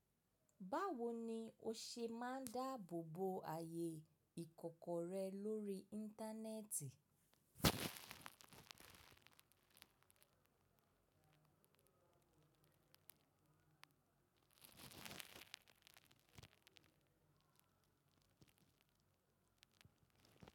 Báwo ni o ṣe máa ń dáàbò bo ààyè ìkọ̀kọ̀ rẹ lórí Íńtánẹ́ẹ̀tì?